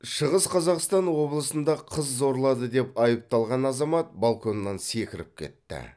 шығыс қазақстан облысында қыз зорлады деп айыпталған азамат балконнан секіріп кетті